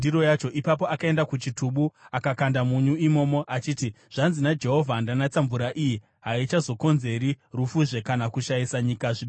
Ipapo akaenda kuchitubu akakanda munyu imomo achiti, “Zvanzi naJehovha: ‘Ndanatsa mvura iyi. Haichazokonzeri rufuzve kana kushayisa nyika zvibereko.’ ”